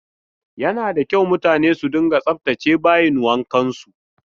Yana da kyau mutane su dunga tsaftace bayin wankansu.